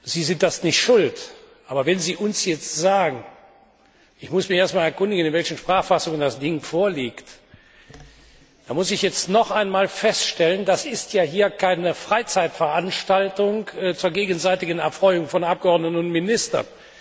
Sie sind daran nicht schuld, aber wenn Sie uns jetzt sagen Ich muss mich erst mal erkundigen, in welchen Sprachfassungen das Ding vorliegt, dann muss ich jetzt noch einmal feststellen, das hier ist keine Freizeitveranstaltung zur gegenseitigen Erfreuung von Abgeordneten und Ministern.